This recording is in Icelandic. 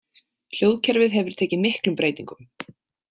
Hljóðkerfið hefur tekið miklum breytingum.